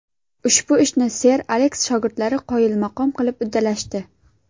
Ushbu ishni Ser Aleks shogirdlari qoyilmaqom qilib uddalashdi.